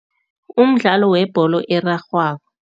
Umdlalo webholo erarhwako.